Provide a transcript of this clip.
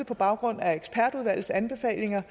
på baggrund af ekspertudvalgets anbefalinger